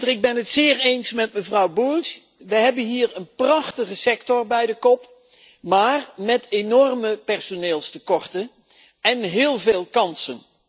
Ik ben het zeer eens met mevrouw Bulc we hebben hier een prachtige sector bij de kop, maar met enorme personeelstekorten en heel veel kansen.